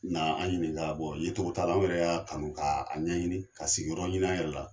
an ɲininka yecogo t'a la anw yɛrɛ y'a kanu k'a ɲɛɲini ka sigiyɔrɔ ɲini an yɛrɛ la.